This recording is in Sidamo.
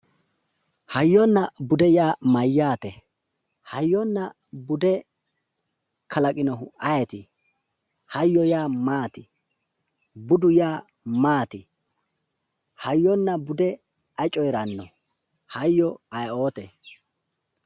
Hayyonna bude yaa mayyaate? Hayyonna bude kalaqinohu ayiti? Hayyo yaa maati? Budu yaa maati? Hoyyonna bude ayi coyiranno hayyo yaa ayioote?